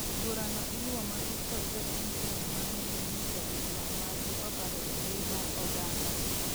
burano iluwo matut kod jopiny Kenya mang'eny monyiso ich wang' margi kokalo e mbui mar oganga